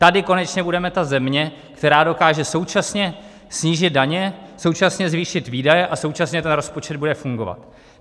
Tady konečně budeme ta země, která dokáže současně snížit daně, současně zvýšit výdaje a současně ten rozpočet bude fungovat.